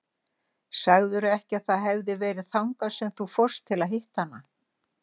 Sagðirðu ekki að það hefði verið þangað sem þú fórst til að hitta hana?